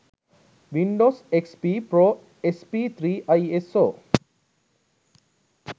windows xp pro sp3 iso